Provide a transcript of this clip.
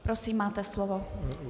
Prosím, máte slovo.